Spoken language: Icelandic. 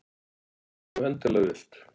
Ef þú endilega vilt.